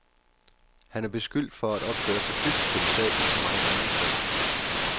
Han er beskyldt for at opføre sig dybt kritisabelt og meget andet grimt.